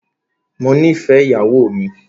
Mó nìfẹ ìyàwó mi.